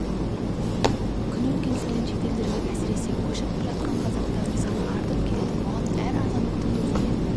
күн өткен сайын шет елдерге әсіресе көшіп жатқан қазақтардың саны артып келеді бұған әр азаматтың өзіне